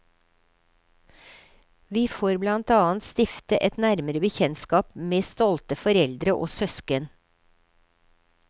Vi får blant annet stifte et nærmere bekjentskap med stolte foreldre og søsken.